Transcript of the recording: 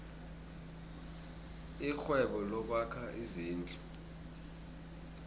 irhwebo lokwakha izindlu